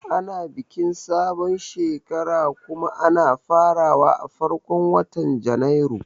Ana bikin sabon shekara kuma ana farawa a farkon watan Janairu